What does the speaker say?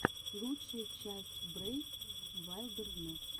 лучшая часть брейв вайлдернесс